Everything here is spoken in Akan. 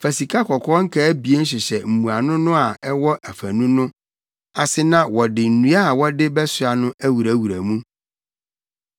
Fa sikakɔkɔɔ nkaa abien hyehyɛ mmuano no a ɛwɔ afanu no ase na wɔde nnua a wɔde bɛsoa no awurawura mu.